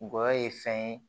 Gɔyɔ ye fɛn ye